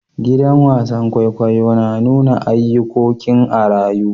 Gidan wasan kwaikwayo na nuna ayukokin a'rayu.